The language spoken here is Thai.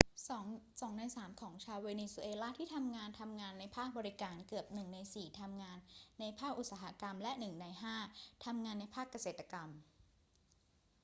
2 ใน 3 ของชาวเวเนซุเอลาที่ทำงานทำงานในภาคบริการ เกือบ 1 ใน 4 ทำงานในภาคอุตสาหกรรม และ 1 ใน 5 ทำงานในภาคเกษตรกรรม